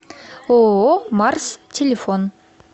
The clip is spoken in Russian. ооо марс телефон